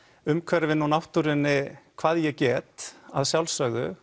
umhverfinu og náttúrunni hvað ég get að sjálfsögðu